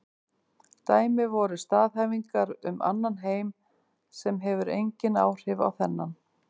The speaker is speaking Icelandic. Dæmi væru staðhæfingar um annan heim sem hefur engin áhrif á þennan.